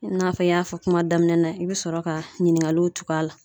I n'a fɔ n y'a fɔ kuma daminɛ na, i bɛ sɔrɔ ka ɲininkaliw tug'a la.